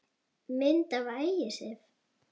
Mynd af Ægisif